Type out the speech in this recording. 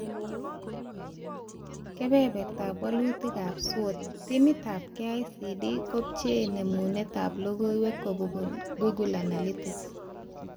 Kebebertaab walutikab SWOT, timitab KICD kobchee nemunetab logoiwek kobun Google Analytics